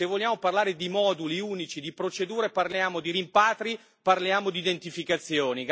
Se vogliamo parlare di moduli unici di procedure, parliamo di rimpatri, parliamo di identificazioni.